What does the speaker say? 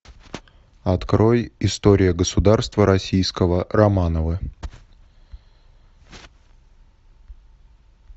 открой история государства российского романовы